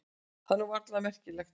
Það var nú varla merkjanlegt.